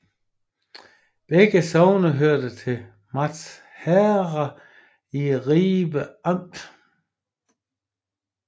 Begge sogne hørte til Malt Herred i Ribe Amt